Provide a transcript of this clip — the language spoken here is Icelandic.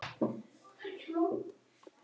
Ég grét mikið en mamma studdi vel við bakið á mér.